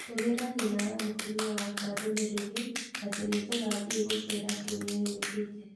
Tũmĩra nyina wa mũtumia wakwa ndũmĩrĩri atĩ nĩ tũkathiĩ gũchera kiumia gĩũkite